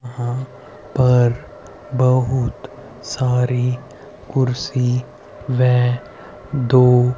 यहां पर बहुत सारी कुर्सी वे दो--